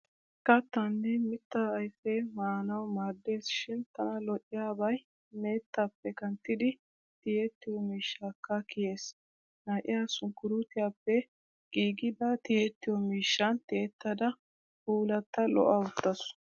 Kattaanne mittaa ayfee maanawu maaddes shin tana lo'iyabay meettappe kanttiddi tiyettiyo miishshakka kiyees. Na'iyaa sunkkuruutiyappe giigida tiyettiyo miishshan tiyettada puullatta lo'a uttaasu.